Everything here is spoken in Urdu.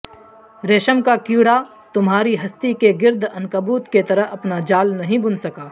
ریشم کا کیڑا تمہاری ہستی کے گرد عنکبوت کیطرح اپنا جال نہیں بن سکا